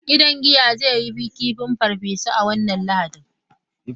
Gidan giya zai yi kifin barbecue a wannan Lahadin.